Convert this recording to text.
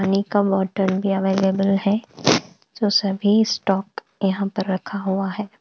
पानी का बॉटल भी अवेलेबल है तो सभी स्टॉक यहाँ पर रखा हुआ है।